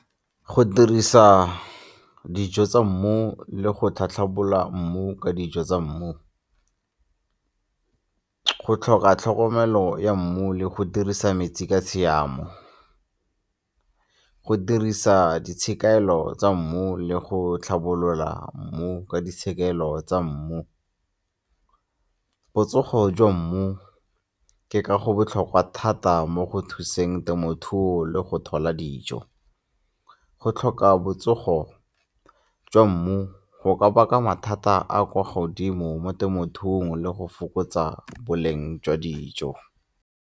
Go dirisa dijo tsa mmu le go tlhatlhabola mmu ka dijo tsa mmu. Go tlhoka tlhokomelo ya mmu le go dirisa metsi ka tshiamo. Go dirisa di tshekamelo tsa mmu le go tlhabolola mmu ka ditshekegelo tsa mmu. Botsogo jwa mmu ke ka go botlhokwa thata mo go thuseng temothuo le go tlhola dijo. Go tlhoka botsogo jwa mmu go ka baka mathata a a kwa godimo mo temothuong le go fokotsa boleng jwa dijo.